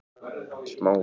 Smá von